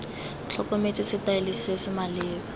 tlhokometswe setaele se se maleba